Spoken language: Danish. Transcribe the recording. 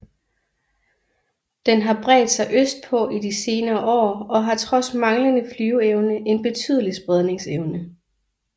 Den har bredt sig østpå i de senere år og har trods manglende flyveevne en betydelig spredningsevne